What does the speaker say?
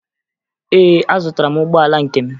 Ee, azụtara m ụgbọala nke m